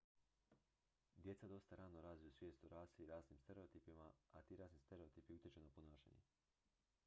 djeca dosta rano razviju svijest o rasi i rasnim stereotipima a ti rasni stereotipi utječu na ponašanje